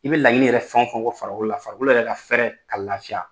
I bɛ laɲini yɛrɛ fɛn o fɛn ko farikolo la, farikolo yɛrɛ ka fɛrɛ, k'a lafiya